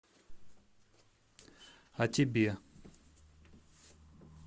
а тебе